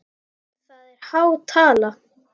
Það er há tala.